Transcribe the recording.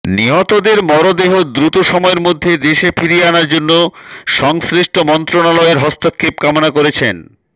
নিহতদের মরদেহ দ্রুত সময়ের মধ্যে দেশে ফিরিয়ে আনার জন্য সংশ্লিষ্ট মন্ত্রণালয়ের হস্তক্ষেপ কামনা করেছেন